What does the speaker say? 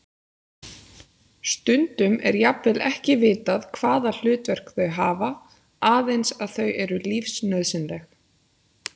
Stundum er jafnvel ekki vitað hvaða hlutverk þau hafa, aðeins að þau eru lífsnauðsynleg.